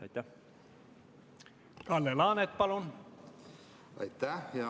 Aitäh, hea aseesimees!